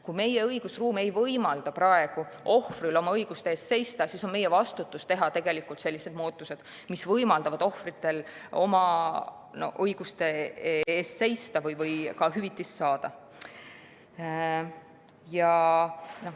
Kui meie õigusruum ei võimalda praegu ohvril oma õiguste eest seista, siis on meie vastutus teha sellised muudatused, mis võimaldavad ohvritel oma õiguste eest seista või ka hüvitist saada.